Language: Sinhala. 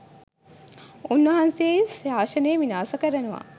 උන්වහන්සේ ශාසනය විනාශ කරනවා